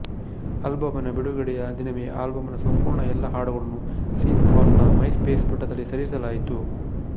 ಆಲ್ಬಂನ ಬಿಡುಗಡೆಯ ದಿನವೇ ಆಲ್ಬಂ ನ ಸಂಪೂರ್ಣ ಎಲ್ಲಾ ಹಾಡುಗಳನ್ನು ಸೀನ್ ಪಾಲ್ ನ ಮೈಸ್ಪೇಸ್ ಪುಟದಲ್ಲಿ ಸೇರಿಸಲಾಯಿತು